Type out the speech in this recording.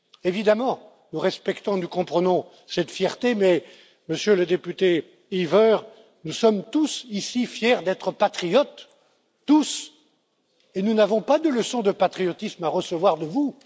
Évidemment, nous respectons et nous comprenons cette fierté mais, Monsieur le député Heaver, nous sommes tous ici fiers d'être patriotes, tous, et nous n'avons pas de leçon de patriotisme à recevoir de vous.